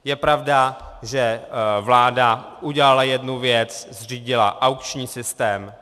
Je pravda, že vláda udělala jednu věc, zřídila aukční systém.